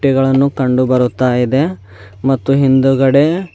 ಡಬ್ಬಿಗಳನ್ನು ಕಂಡು ಬರುತ್ತ ಇದೆ ಮತ್ತು ಹಿಂದುಗಡೆ--